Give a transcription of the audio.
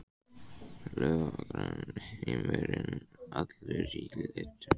Laufblöðin græn, heimurinn allur í litum.